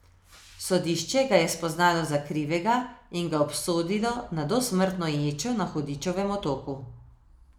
Sodišče ga je spoznalo za krivega in ga obsodilo na dosmrtno ječo na Hudičevem otoku.